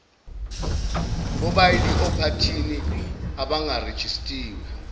bobaili ophathini abangarejistiwe